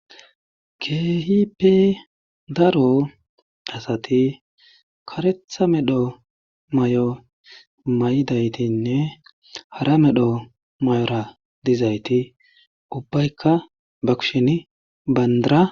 Keehipe daro asati karetha medho may'o may'daytinne hara medho may'ora dizayti ubbaykka ba kushen bandara